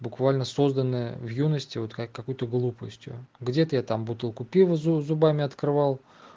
буквально созданная в юности вот какой-то глупостью где-то я там бутылку пива зубами открывал